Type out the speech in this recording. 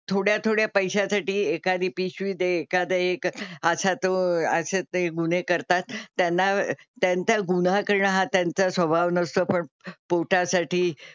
थोड्या थोड्या पैशा साठी एखादी पिशवीत एखादं एक असा तो असे ते गुन्हे करतात त्यांना त्यांचा गुन्हा करणं हा त्यांचा स्वभाव नसतो पण पोटासाठी,